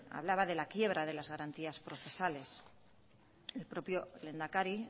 hablaba de la quiebra de las garantías procesales el propio lehendakari